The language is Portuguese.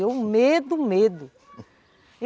E eu, medo, medo.